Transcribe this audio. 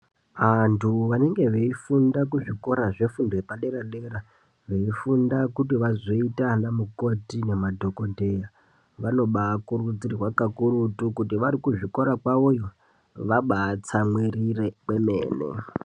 Antu anenge veifunda kuzvikora zvefundi yepadera dera, eifunda kuti azoita ana mukoti nemadhohotera, vanobaakurudzirwa kakurutu kuti vari kuzvikora kwavoyo vabaatsamwirire kwemene.